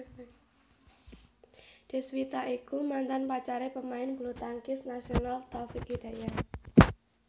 Deswita iku mantan pacare pemain bulutangkis nasional Taufik Hidayat